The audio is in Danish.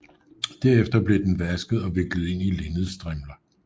Derefter blev den vasket og viklet ind i linnedstrimler